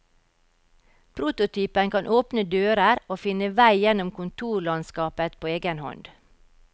Prototypen kan åpne dører og finne vei gjennom kontorlandskapet på egen hånd.